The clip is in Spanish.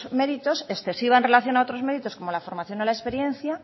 méritos excesiva en relación a otros méritos como la formación o la experiencia